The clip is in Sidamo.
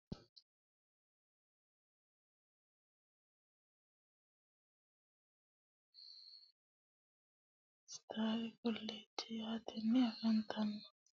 Kuni leleano mini alati chukote quchumi giddo afafnitanoha ikana birre warro koonni mini giddo loonisani afanitanohu UNK sttari kolejje yatteni affanitano.